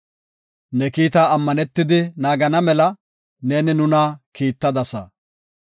Ne kiita ammanetidi naagana mela, neeni nuna kiittadasa.